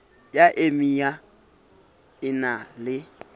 ya emia e na le